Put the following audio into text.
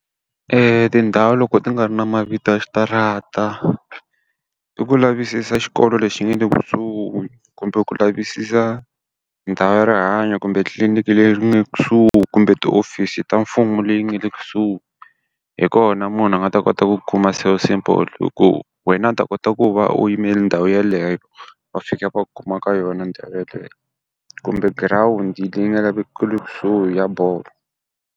tindhawu loko ti nga ri na mavito ya switarata, i ku lavisisa xikolo lexi nga le kusuhi kumbe ku lavisisa ndhawu ya rihanyo kumbe tliliniki leyi nge kusuhi kumbe tihofisi ta mfumo leti nga le kusuhi. Hi kona munhu a nga ta kota ku ku kuma so simple hi ku wena u ta kota ku va u yime ndhawu yeleyo va fika va kuma ka yona ndhawu yeleyo. Kumbe girawundi leyi nga kusuhi ya bolo.